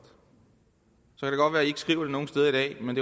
så at i ikke skriver det nogen steder i dag men